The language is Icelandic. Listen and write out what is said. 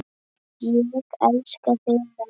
Ég elska þig, mamma.